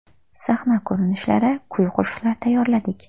Sahna ko‘rinishlari, kuy-qo‘shiqlar tayyorlardik.